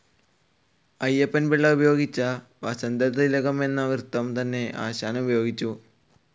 അയ്യപ്പൻ പിള്ള ഉപയോഗിച്ച വസന്തതിലകം എന്ന വൃത്തം തന്നെ ആശാനും ഉപയോഗിച്ചു.